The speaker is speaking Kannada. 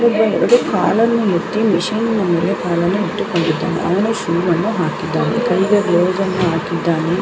ಇಲ್ಲಿ ಕಾಲನ್ನು ಮುಟ್ಟಿ ಮಷೀನ್ ಮೇಲೆ ಕಾಲನ್ನು ಇಟ್ಟುಕೊಂಡಿದಾನೆ ಅವನು ಶೂ ಅನ್ನು ಹಾಕಿದಾನೆ ಕ್ಯಗೆ ಗ್ಲವ್ಸ್ಅನ್ನು ಹಾಕಿದಾನೆ.